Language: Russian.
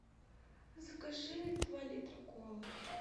закажи два литра колы